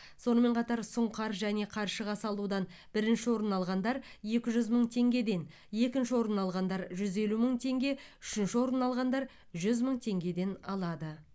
сонымен қатар сұңқар және қаршыға салудан бірінші орын алғандар екі жүз мың теңгеден екінші орын алғандар жүз елу мың теңге үшінші орын алғандар жүз мың теңгеден алады